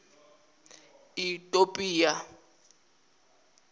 itopia